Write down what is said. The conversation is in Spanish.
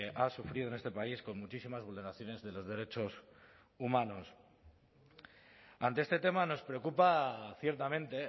ha sufrido en este país con muchísimas vulneraciones de los derechos humanos ante este tema nos preocupa ciertamente